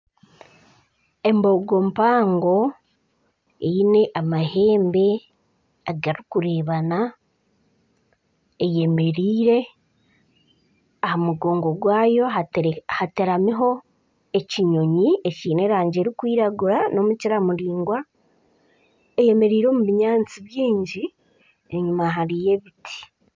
Embogo mpango eine amahembe garikurebana eyemereire aha mugongo gwayo hatekamiho ekinyonyi ekiine erangi erikwiragura n'omukira muringwa eyemereire omu binyaantsi byingi enyima hariyo ebiti.